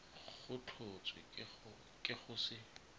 go tlhotswe ke go se